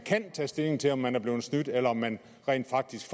tage stilling til om man er blevet snydt eller om man rent faktisk